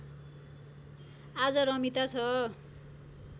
आज रमिता छ